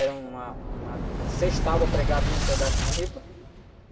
Era uma, uma... Seis tábuas pregadas num pedaço de ripa.